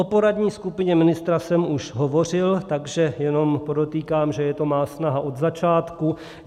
O poradní skupině ministra jsem už hovořil, takže jenom podotýkám, že je to má snaha od začátku.